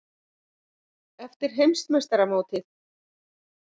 Eftir Heimsmeistaramótið?